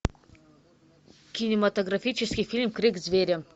кинематографический фильм крик зверя